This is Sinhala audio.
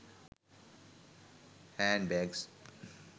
hand bags